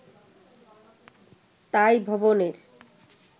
তাই 'ভবন'-এর